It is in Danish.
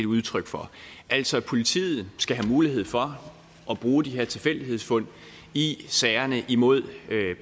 udtryk for altså politiet skal have mulighed for at bruge de her tilfældighedsfund i sagerne mod